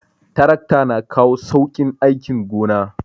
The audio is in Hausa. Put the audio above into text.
Tarakta na kawo sauƙin aikin gona